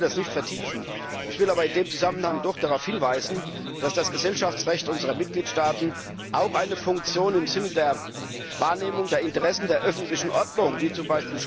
Ich möchte das jetzt nicht vertiefen, ich will aber in diesem Zusammenhang doch darauf hinweisen, dass das Gesellschaftsrecht unserer Mitgliedstaaten auch eine Funktion im Sinne der Wahrnehmung der Interessen der öffentlichen Ordnung, wie z.